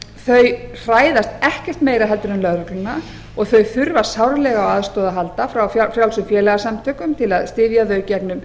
þau hræðast ekkert meira heldur en lögregluna og þau þurfa sárlega á aðstoð að halda frá frjálsum félagasamtökum til að styðja við þau gegnum